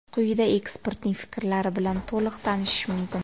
Quyida ekspertning fikrlari bilan to‘liq tanishish mumkin.